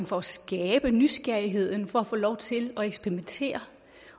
for at skabe nysgerrigheden for at få lov til at eksperimentere